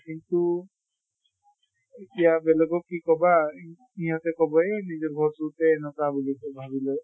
কিন্তু এতিয়া বেলেগক কি কবা সিহঁতে কʼব এহ নিজৰ এনকা বুলি কয় ভাবি লয়